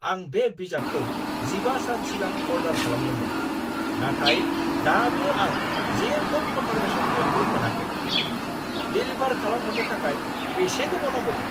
आं बे बिजाबखौ जिबा सान सिगां अर्डार खालामदोंमोन, नाथाय दाबो आं जेबो कन्फार्मेशन मेलबो मोनाखै! डेलिभार खालामहरनो थाखाय बेसे गोबाव नांबावगोन?